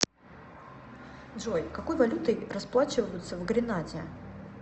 джой какой валютой расплачиваются в гренаде